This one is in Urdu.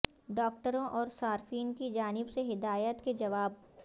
ڈاکٹروں اور صارفین کی جانب سے ہدایات کے جواب